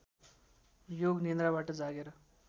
योग निन्द्राबाट जागेर